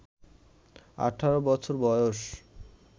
১৮ বছর বয়স